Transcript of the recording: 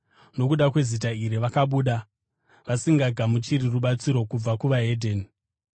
Nokuda kweZita iri vakabuda, vasingagamuchiri rubatsiro kubva kuvahedheni.